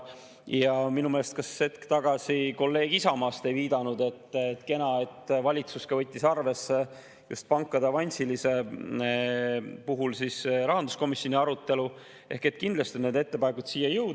Ja minu meelest hetk tagasi kolleeg Isamaast viitas, et kena, et valitsus võttis arvesse just pankade avansilise puhul rahanduskomisjoni arutelu, ehk et kindlasti on need ettepanekud siia jõudnud.